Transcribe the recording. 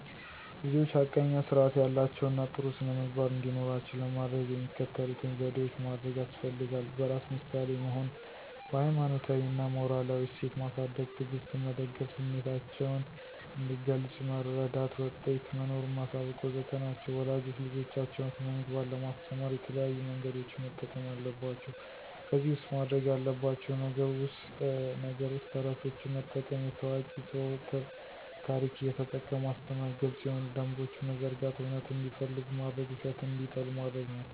ልጆች ሐቀኛ ስርአት ያላቸው እና ጥሩ ስነምግባር እንዲኖራቸው ለማደረግ የሚከተሉትን ዘዴዎች ማደርግ ያስፈልጋል። በራስ ምሳሌ መሆን፣ በሀይማኖታዊ እና ሞራላዊ እሴት ማሳድግ፣ ትዕግስትን መደገፍ፣ ስሚታቸውን እንዲገልጽ መረዳት፣ ውጤት መኖሩን ማሳወቅ.. ወዘተ ናቸው ወላጆች ልጆቻቸውን ስነምግባር ለማስተማር የተለያዩ መንገዶችን መጠቀም አለባቸው ከዚህ ውስጥ ማድርግ ያለባቸው ነገር ውስጥ ተረቶችን መጠቀም፣ የታዋቂ ስው ታርክ እየተጠቀሙ ማስተማር፣ ግልጽ የሆኑ ደንቦችን መዘርጋት፣ እውነትን እንዲፈልጉ ማድርግ ውሸትን እንዲጠሉ ማድርግ ናቸው።